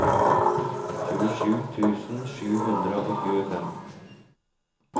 tjuesju tusen sju hundre og tjuefem